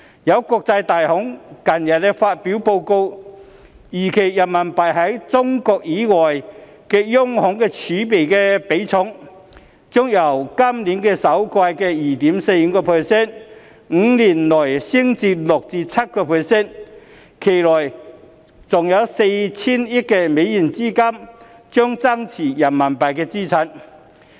有國際大行近日發表報告，預期人民幣在中國以外的央行儲備的比重，將由今年首季的 2.45%， 於5年內升至 6% 至 7%， 期內還有 4,000 億美元資金將增持人民幣資產。